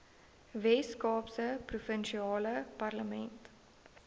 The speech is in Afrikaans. weskaapse provinsiale parlement